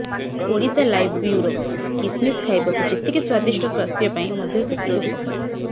Odisha live bureau କିସମିସ ଖାଇବାକୁ ଯେତିକି ସ୍ୱାଦିଷ୍ଟ ସ୍ୱାସ୍ଥ୍ୟ ପାଇଁ ମଧ୍ୟ ସେତିକି ଉପକାରୀ